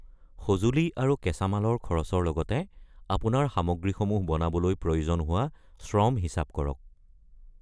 সঁজুলি আৰু কাঁচামালৰ খৰচৰ লগতে আপোনাৰ সামগ্ৰীসমূহ বনাবলৈ প্ৰয়োজন হোৱা শ্ৰম হিচাপ কৰক।